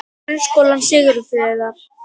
Grunnskólanum Ísafirði